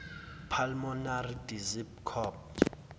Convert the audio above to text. pulmonary disease copd